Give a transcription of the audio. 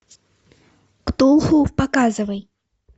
ктулху показывай